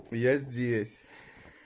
я здесь